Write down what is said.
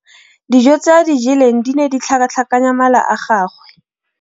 Dijô tse a di jeleng di ne di tlhakatlhakanya mala a gagwe.